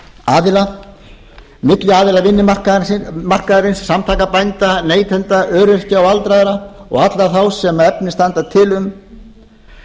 aðila milli aðila vinnumarkaðarins samtaka bænda neytenda öryrkja og aldraðra og allra þeirra sem efni standa til um